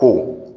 Ko